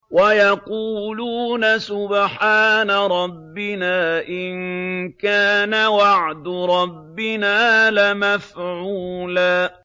وَيَقُولُونَ سُبْحَانَ رَبِّنَا إِن كَانَ وَعْدُ رَبِّنَا لَمَفْعُولًا